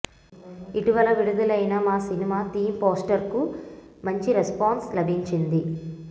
ఇటీవల విడుదలైన మా సినిమా థీమ్ పోస్టర్కు మంచి రెస్పాన్స్ లభించింది